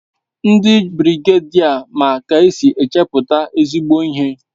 Ndi birigedia ma k'esin echeputa ezigbo ihe